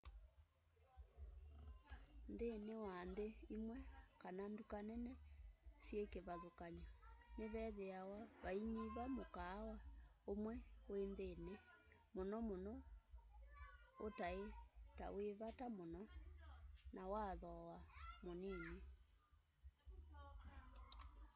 nthini wa nthi imwe kana nduka nene syi kivathukany'o nivethiawa vainyiva mukaawa umwe wi nthini muno muno utai ta wi vata muno na wa thooa munini